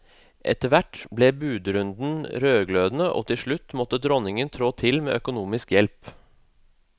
Etter hvert ble budrunden rødglødende og til slutt måtte dronningen trå til med økonomisk hjelp.